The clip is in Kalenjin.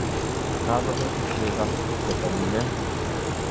Kakobek cheko chetolilen